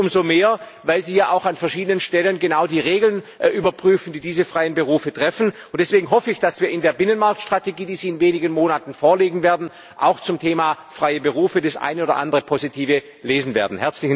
Und das gilt umso mehr, weil sie ja auch an verschiedenen Stellen genau die Regeln überprüfen, die diese freien Berufe treffen, und deswegen hoffe ich, dass wir in der Binnenmarkt Strategie, die sie in wenigen Monaten vorlegen werden, auch zum Thema freie Berufe das eine oder andere Positive lesen werden.